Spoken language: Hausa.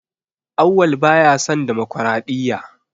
Auwal baya son damakwaraɗiyya.